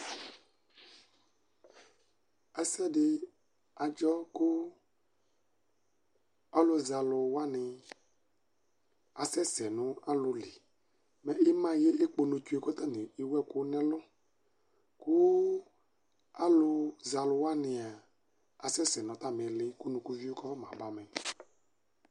Ɛsɛdi adzɔ kʋ alʋzɛalʋwani asɛsɛ nʋ alʋli Mɛ imayɛ ekponotsue kʋ atani ewʋ ɛkʋ nʋ ɛlʋ, kʋ alʋzɛalʋwani a asɛsɛ nʋ atali iili, kʋ unutuvio kafama bamɛ